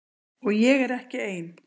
Og ég er ekki ein.